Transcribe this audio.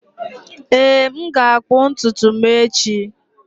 Ee, m ga-akpụ ntutu m echi